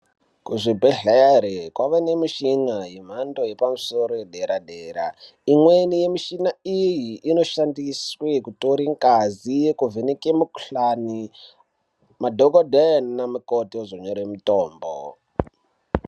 Kuzvibhedhlera kwawa nemuchini yemhando yepamusoro yedera-dera. Imweni yemuchini iye inoshandiswa kutore ngazi kuvheneka mukhuhlani, madhokodheya nanamukoti ozonyore mutombo.